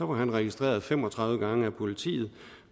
var han registreret fem og tredive gange af politiet